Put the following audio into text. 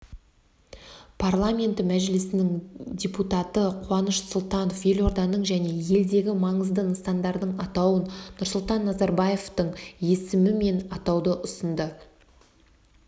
парламенті мәжілісінің депататы қуаныш сұлтанов елорданың және елдегі маңызды нысандардың атауын нұрсұлтан назарбаевтың есімімен атауды ұсынды